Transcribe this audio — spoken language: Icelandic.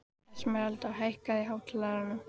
Esmeralda, hækkaðu í hátalaranum.